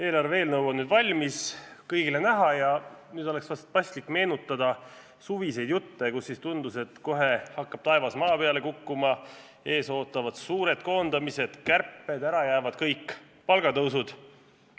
Eelarve eelnõu on nüüd valmis, kõigile näha, ja nüüd oleks vist paslik meenutada suviseid jutte, kui tundus, et kohe hakkab taevas maa peale kukkuma, ees ootavad suured koondamised, kärped, ära jäävad kõik palgatõusud.